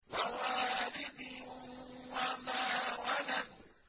وَوَالِدٍ وَمَا وَلَدَ